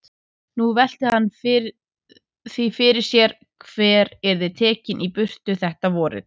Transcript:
Nú velti hann því fyrir sér hver yrði tekinn í burtu þetta vorið.